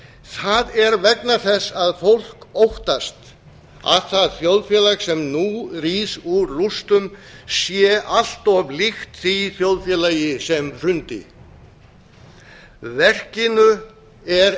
það er vegna þess að fólk óttast að það þjóðfélag sem nú rís úr rústum sé allt of líkt því þjóðfélagi sem hrundi verkinu er